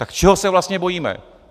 Tak čeho se vlastně bojíme?